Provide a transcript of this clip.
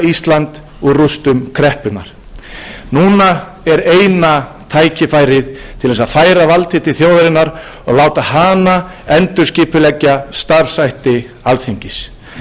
ísland úr rústum kreppunnar núna er eina tækifærið til að færa valdið til þjóðarinnar og láta hana endurskipuleggja starfshætti alþingis aðeins þannig útrýmum við því ráðherraræði sem viðgengist hefur hér á